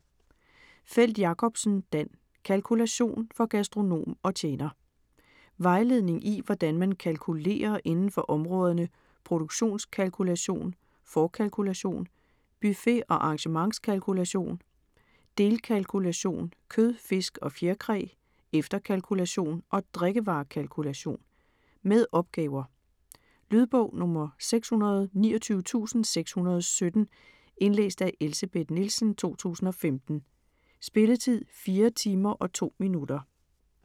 Feld-Jakobsen, Dan: Kalkulation: for gastronom og tjener Vejledning i hvordan man kalkulerer inden for områderne produktionskalkulation, forkalkulation, buffet- og arrangementskalkulation, delkalkulation kød, fisk og fjerkræ, efterkalkulation og drikkevarekalkulation. Med opgaver. Lydbog 629617 Indlæst af Elsebeth Nielsen, 2015. Spilletid: 4 timer, 2 minutter.